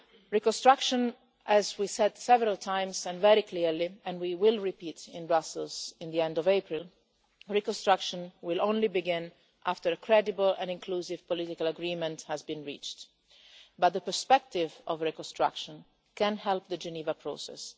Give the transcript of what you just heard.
Reconstruction, as we said several times and very clearly and we will repeat in Brussels at the end of April will only begin after a credible and inclusive political agreement has been reached, but the perspective of reconstruction can help the Geneva process.